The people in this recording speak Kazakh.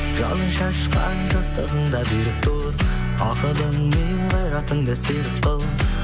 жалын шашқан жастығыңда берік тұр ақылың мен қайратыңды серік қыл